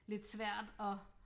Lidt svært at